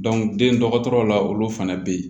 den dɔgɔtɔrɔ la olu fana bɛ yen